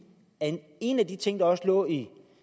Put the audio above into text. at en af de ting vi også lå i